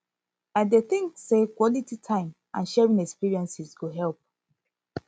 i dey think say quality time and sharing experiences go help